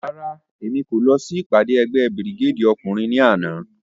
Rárá, Emi ko lọ si ipade ẹgbẹ Birigedi ọkunrin ni ana.